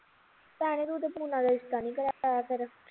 ਭੈਣੇ ਤੂੰ ਤਾ ਪੂਨਾ ਦਾ ਰਿਸ਼ਤਾ ਨੀ ਕਰਾਇਆ ਫਿਰ